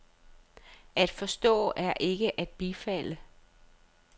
At forstå er ikke at bifalde.